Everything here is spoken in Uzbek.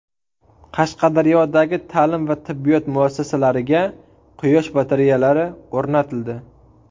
Qashqadaryodagi ta’lim va tibbiyot muassasalariga quyosh batareyalari o‘rnatildi.